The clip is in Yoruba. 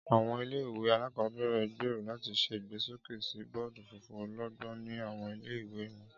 Áwọn ìle-ìwe alakọbẹrẹ n gbero lati ṣe igbesoke si bọọdu funfun ọlọgbọn ni awọn ìle-ìwe wọn.